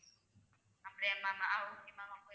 அப்படியா ma'am ஆஹ் okay ma'am okay